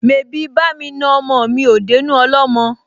Mebí bá'mi na ọmọ mi ò dénú ọlọ́mọ?